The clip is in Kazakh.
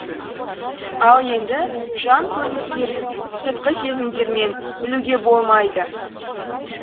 ал енді жан көріністерін сыртқы сезімдермен білуге болмайды